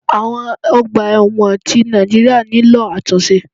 Awon ọgbà ẹ̀wọ̀n ti Nàìjíríà nílò àtúnṣe.